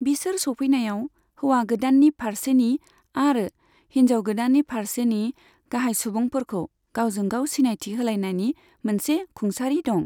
बिसोर सौफैनायाव, हौवा गोदाननि फारसेनि आरो हिनजाव गोदाननि फारसेनि गाहाय सुबुंफोरखौ गावजों गाव सिनायथि होलायनायनि मोनसे खुंसारि दं।